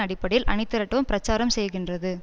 அடிப்படையில் அணிதிரட்டவும் பிரச்சாரம் செய்கின்றது